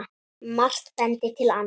Margt bendir til annars.